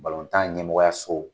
tan ɲɛmɔgɔya so